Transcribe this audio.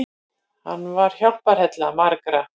Hann var hjálparhella margra.